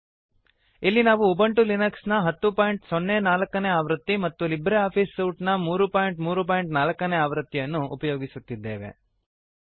ಇಲ್ಲಿ ನಾವು Ubuntu Linux ನ 1004 ಆವೃತ್ತಿ ಮತ್ತು ಲೀಬ್ರೆ ಆಫಿಸ್ ಸೂಟ್ ನ 334 ಆವೃತ್ತಿಯನ್ನು ಉಪಯೋಗಿಸುತ್ತಿದ್ದೇವೆ